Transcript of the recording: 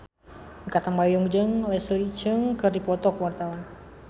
Mikha Tambayong jeung Leslie Cheung keur dipoto ku wartawan